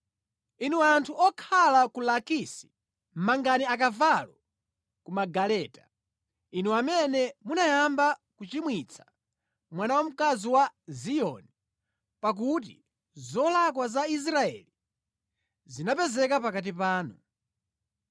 Inu anthu okhala ku Lakisi mangani akavalo ku magaleta. Inu amene munayamba kuchimwitsa mwana wamkazi wa Ziyoni, pakuti zolakwa za Israeli zinapezeka pakati panu.